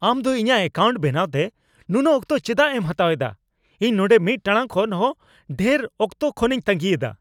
ᱟᱢ ᱫᱚ ᱤᱧᱟᱜ ᱣᱠᱟᱣᱩᱱᱴ ᱵᱮᱱᱟᱣᱛᱮ ᱱᱩᱱᱟᱹᱜ ᱚᱠᱛᱚ ᱪᱮᱫᱟᱜ ᱮᱢ ᱦᱟᱛᱟᱣ ᱮᱫᱟ ? ᱤᱧ ᱱᱚᱸᱰᱮ ᱢᱤᱫ ᱴᱟᱲᱟᱝ ᱠᱷᱚᱱ ᱦᱚᱸ ᱰᱷᱮᱨ ᱚᱠᱛᱚ ᱠᱷᱚᱱᱤᱧ ᱛᱟᱹᱜᱤᱭᱮᱫᱟ ᱾